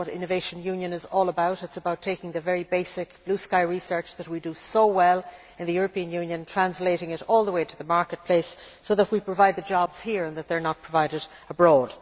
That is what Innovation Union is all about. It is about taking the very basic blue sky research that we do so well in the European Union, and translating it all the way to the marketplace so that we provide the jobs here, and they are not provided abroad.